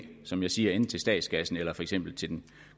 som jeg siger enten til statskassen eller for eksempel til den